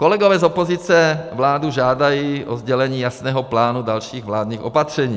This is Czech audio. Kolegové z opozice vládu žádají o sdělení jasného plánu dalších vládních opatření.